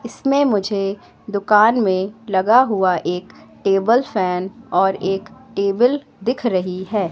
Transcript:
इसमें मुझे दुकान में लगाया हुआ टेबल फैन और एक टेबल दिख रही हैं।